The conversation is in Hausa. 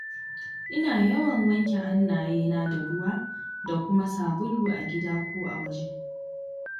Ina yawan wanke hannayena da ruwa da kuma sabulu a gida ko a waje.